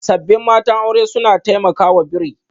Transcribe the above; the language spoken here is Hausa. Sabbin matan aure suna taimakawa bri